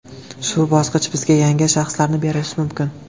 Shu bosqich bizga yangi shaxslarni berishi mumkin.